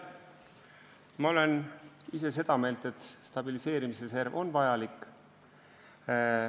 Ma olen ise seda meelt, et stabiliseerimisreserv on vajalik.